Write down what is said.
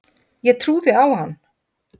Ég trúði á hann.